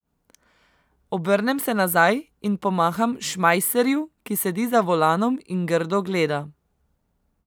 Obrnem se nazaj in pomaham Šmajserju, ki sedi za volanom in grdo gleda.